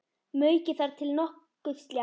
Maukið þar til nokkuð slétt.